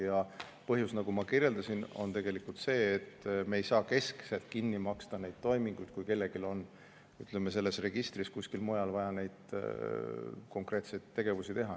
Ja põhjus, nagu ma kirjeldasin, on tegelikult see, et me ei saa keskselt kinni maksta neid toiminguid, kui kellelgi on selles registris või kuskil mujal vaja konkreetseid tegevusi teha.